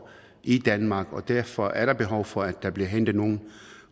i danmark og derfor er der behov for at der bliver hentet nogle